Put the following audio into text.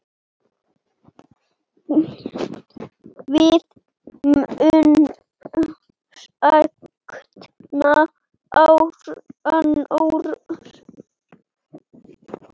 Við munum sakna Arnórs.